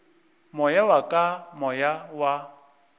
moya wa ka moya wa